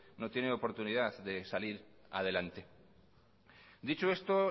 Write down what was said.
no tiene oportunidad de salir adelante dicho esto